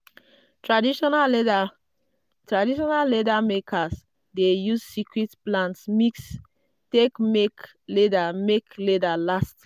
traditional leather makers dey use secret plant mix take make leather make leather last long.